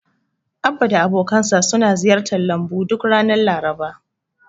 Abba da abokansa suna ziyartar lambun duk ranar Laraba.